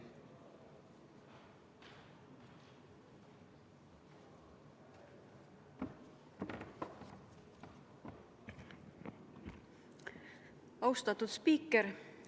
Austatud spiiker!